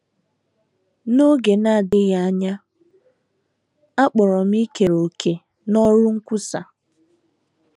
N’oge na - adịghị anya, a kpọrọ m ikere òkè n’ọrụ nkwusa.